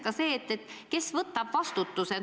Ja teiseks: kes võtab vastutuse?